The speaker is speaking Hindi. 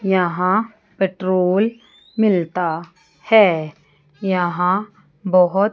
यहां पेट्रोल मिलता है यहां बहुत--